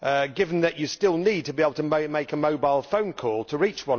Given that you still need to be able to make a mobile phone call to reach